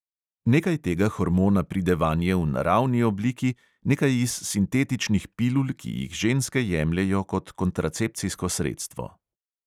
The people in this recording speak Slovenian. Nekaj tega hormona pride vanje v naravni obliki, nekaj iz sintetičnih pilul, ki jih ženske jemljejo kot kontracepcijsko sredstvo.